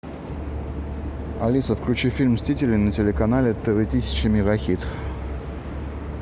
алиса включи фильм мстители на телеканале тв тысяча мегахит